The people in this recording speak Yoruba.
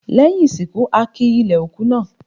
Lẹ́yìn ìsìnkú, a ki ilẹ̀ òkú náà.